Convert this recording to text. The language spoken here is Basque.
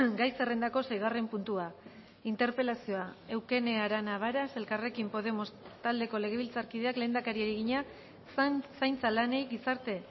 gai zerrendako seigarren puntua interpelazioa eukene arana varas elkarrekin podemos taldeko legebiltzarkideak lehendakariari egina zaintza lanei gizarte